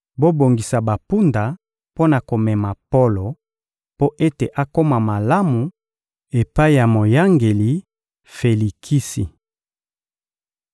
Bobongisa bampunda mpo na komema Polo mpo ete akoma malamu epai ya moyangeli Felikisi.